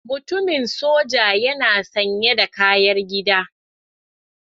Mutumin soja yana sanye da kayar gida.